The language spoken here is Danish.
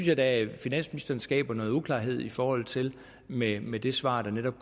jeg da at finansministeren skaber noget uklarhed i forhold til med med det svar der netop